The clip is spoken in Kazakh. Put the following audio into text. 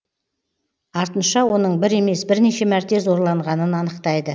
артынша оның бір емес бірнеше мәрте зорланғанын анықтайды